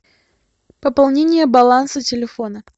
пополнение баланса телефона